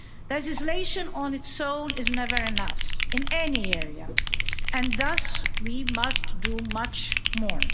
Legislation on its own is never enough, in any area, and thus we must do much more.